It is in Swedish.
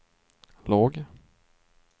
låg